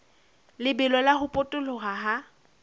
lebelo la ho potoloha ha